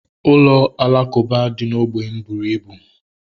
Ụlọ alakuba dị na ógbè m bụrụ ibu